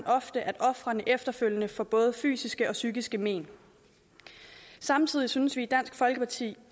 ofte at ofrene efterfølgende får både fysiske og psykiske men samtidig synes vi i dansk folkeparti